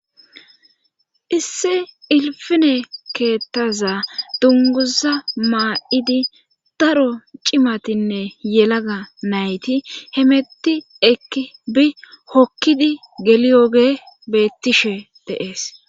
isse ilfine keethaza dunguza maa7idi daro cimatinne yelaga nayti hemetti ekki bi hokkidi geliyoge beettishe deees